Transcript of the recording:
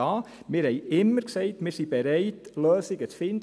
Wir sagten immer, dass wir bereit sind, Lösungen zu finden.